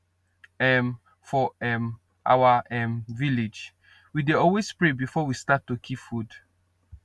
um for um our um village we dey always pray before we start to keep food